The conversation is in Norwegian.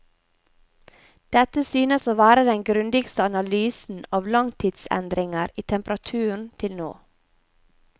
Dette synes å være den grundigste analysen av langtidsendringer i temperaturen til nå.